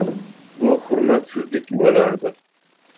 Bu hurmatsizlik bo‘lardi.